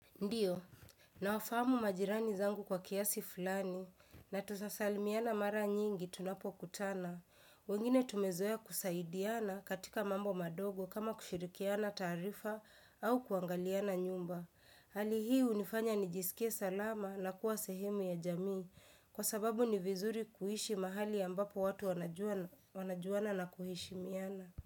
Ndiyo, nawafahamu majirani zangu kwa kiasi fulani, na tutasalimiana mara nyingi tunapokutana. Wengine tumezoea kusaidiana katika mambo madogo kama kushirikiana taarifa au kuangaliana nyumba. Hali hii hunifanya nijisiki7e salama na kuwa sehemu ya jamii, kwa sababu ni vizuri kuishi mahali ambapo watu wanajuana na kuheshimiana.